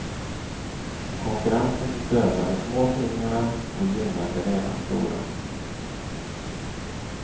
Konkurrensen dödar de små tidningarna och gynnar de redan stora.